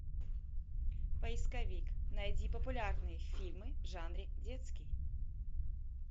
поисковик найди популярные фильмы в жанре детский